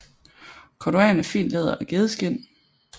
Korduan er fint læder af gedeskind